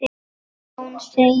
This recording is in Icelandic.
Jón segir